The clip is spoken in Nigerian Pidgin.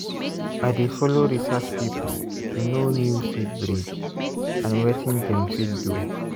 i dey follow research people to know new seed breed and wetin dem fit do.